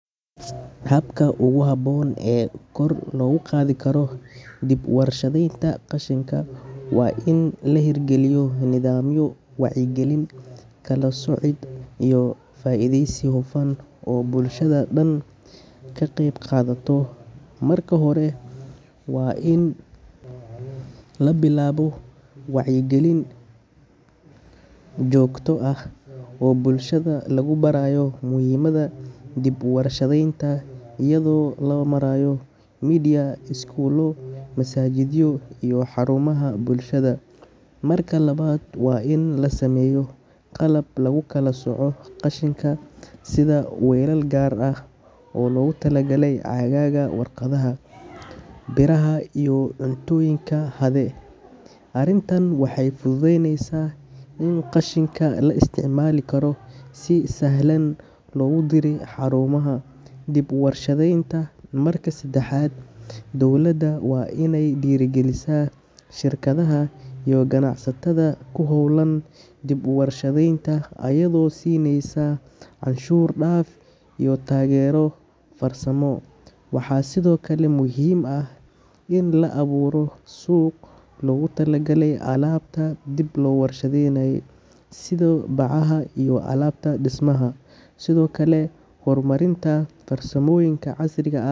Habka ugu haboon ee koor lagu qadikaro diip warshadeynta qashinka waa in lahergaliyo nadhamiyo wacya galin kalasoocid iyo faideysiga bulashada daan kaqeyb qadato marka hore waa in labilaabo wacyi galin joogto aah o bulshada lagu barayo mihimada diip warshadeynta iyada o lomarayo Media skuula, masajida xarumaha bulshada. Marka labad wa in lasmeyo qalab lagu kalasooco qashinka, sida welal gar ah o logu talagalay cagaga warqadaha biraha iyo cuntoyinka haray arintan waxay . in qashinka la isticmalikaro si sahlan logu diray xarumaha diip warshadeynta marka sadaxad dowlada wa in ay dherigalisa shirkadaha